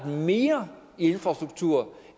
mere i infrastruktur